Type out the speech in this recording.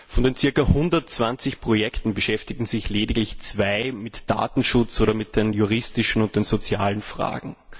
Von den zirka 120 Projekten beschäftigen sich lediglich zwei mit Datenschutz oder mit den juristischen und den sozialen Fragen.